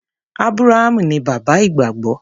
Ábúráhámù ní bàbá ìgbàgbọ́.